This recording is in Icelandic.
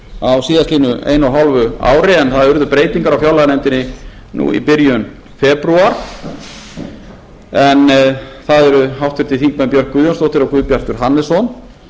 á síðastliðnu eina og hálfa ári en það urðu breytingar á fjárlaganefndinni núna í byrjun febrúar en það eru háttvirtir þingmenn björk guðjónsdóttir og guðbjartur hannesson